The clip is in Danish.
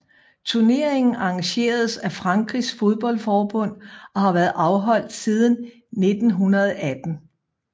Turneringen arrangeres af Frankrigs fodboldforbund og har været afholdt siden 1918